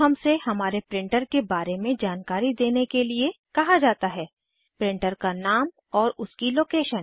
अब हमसे हमारे प्रिंटर के बारे में जानकारी देने के लिए कहा जाता है प्रिंटर का नाम और उसकी लोकेशन